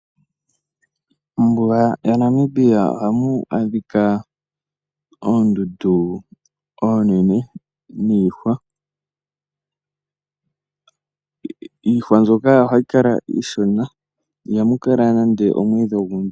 Mombuga yaNamibia ohamu adhika oondundu oonene niihwa. Iihwa mbyoka ohayi kala iishona, ihamu kala nande omwiidhi ogundji.